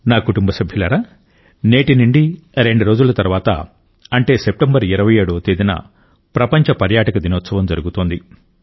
నా కుటుంబ సభ్యులారా నేటి నుండి రెండు రోజుల తర్వాత అంటే సెప్టెంబర్ 27వ తేదీన ప్రపంచ పర్యాటక దినోత్సవం జరుగుతోంది